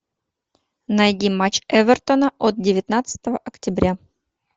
найди матч эвертона от девятнадцатого октября